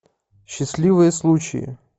счастливые случаи